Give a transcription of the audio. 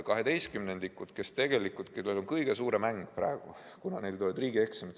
Kaheteistkümnendikud tunnevad praegu kõige suuremat ängi, kuna neil tulevad riigieksamid.